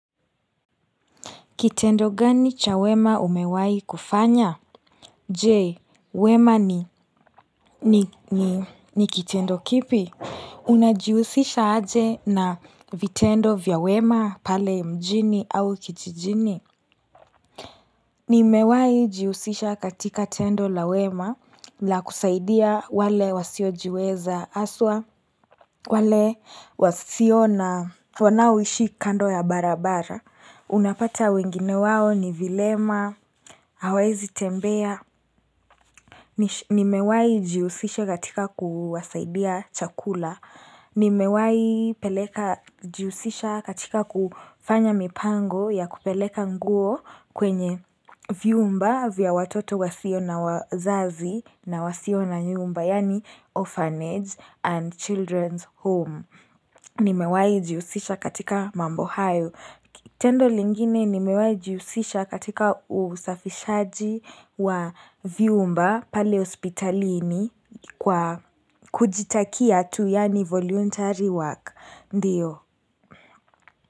Kitendo gani cha wema umewahi kufanya? Je, wema ni ni ni kitendo kipi? Unajihusisha aje na vitendo vya wema pale mjini au kijijini? Ni mewahi jihusisha katika tendo la wema la kusaidia wale wasiojiweza haswa, wale wasio na, wanaoishi kando ya barabara. Unapata wengine wao ni vilema, hawaezi tembea, nimewai jihusisha katika kuwasaidia chakula, nimewai peleka jihusisha katika kufanya mipango ya kupeleka nguo kwenye viumba vya watoto wasio na wazazi na wasio na nyumba, yani orphanage and children's home. Nimewahi jihusisha katika mambo hayo. Tendo lingine nimewahii jihusisha katika usafishaji wa viumba pale hospitalini kwa kujitakia tu yani voluntary work. Ndiyo.